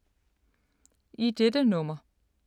I dette nummer